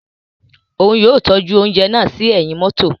Òún yóò tọju ounjẹ náà sí ẹhin mọto